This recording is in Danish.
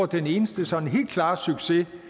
den eneste sådan helt klare succes